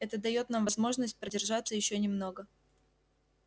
это даёт нам возможность продержаться ещё немного